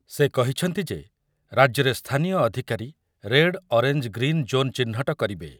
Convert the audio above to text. ସେ କହିଛନ୍ତି ଯେ ରାଜ୍ୟରେ ସ୍ଥାନୀୟ ଅଧିକାରୀ ରେଡ଼, ଅରେଞ୍ଜ, ଗ୍ରୀନ୍ ଜୋନ ଚିହ୍ନଟ କରିବେ।